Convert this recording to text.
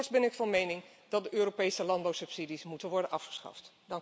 Voorts ben ik van mening dat de Europese landbouwsubsidies moeten worden afgeschaft.